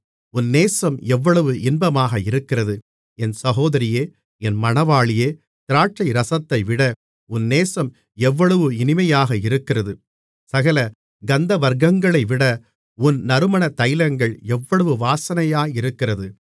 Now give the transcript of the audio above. உன் நேசம் எவ்வளவு இன்பமாக இருக்கிறது என் சகோதரியே என் மணவாளியே திராட்சைரசத்தைவிட உன் நேசம் எவ்வளவு இனிமையாக இருக்கிறது சகல கந்தவர்க்கங்களைவிட உன் நறுமண தைலங்கள் எவ்வளவு வாசனையாயிருக்கிறது